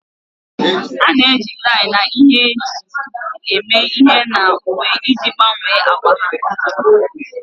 A na-eji tie na ihe e ji esiji eme ihe na uwe iji gbanwee agba ha.